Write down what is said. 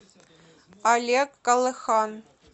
олег колыхан